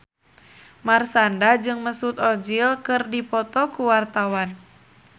Marshanda jeung Mesut Ozil keur dipoto ku wartawan